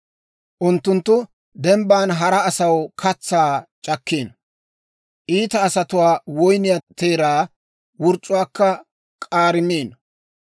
Unttunttu dembban hara asaw katsaa c'akkiino; iita asatuwaa woyniyaa teeraa wurc'c'uwaakka k'aarimiino.